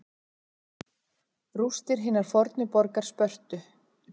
Rústir hinnar fornu borgar Spörtu.